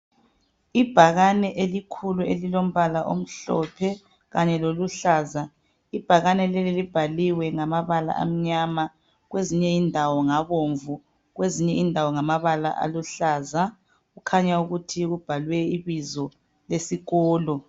Ibhakani elikhulu elilo mbala omhlophe kanye loluhlaza ibhakani leli libhaliwe ngamabala amnyama kwezinye indawo ngabomvu kwezinye indawo ngamabala aluhlaza kukhanya ukuthi kubhalwe ibizo lesikolo